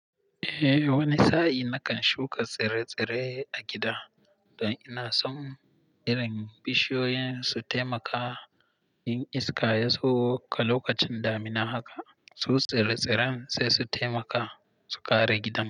Eh, wani sa'in nakan shuka tsire-tsire a gida don ina son irin bishiyoyin su taimaka yin iska, yazo ka lokacin damina haka, su tsire-tsiren sai su taimaka su kare gidan.